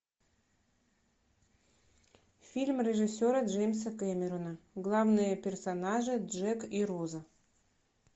фильм режиссера джеймса кэмерона главные персонажи джек и роза